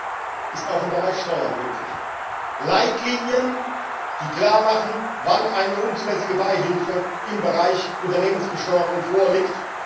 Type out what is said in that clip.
Gleiches ist auch im Bereich Steuern möglich Leitlinien, die klarmachen, wann eine unzulässige Beihilfe im Bereich Unternehmensbesteuerung vorliegt.